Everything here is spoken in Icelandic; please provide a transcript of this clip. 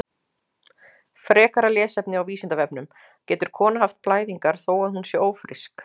Frekara lesefni á Vísindavefnum: Getur kona haft blæðingar þó að hún sé ófrísk?